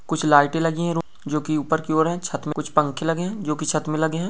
कुछ लाइटे लगी हुई है वो जो कि ऊपर की ओर है छत में कुछ पंखे लगे है जो कि छत में लगे है।